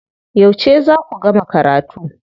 Yauce za ku gama karatu?